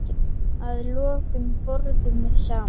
Að lokum borðum við saman.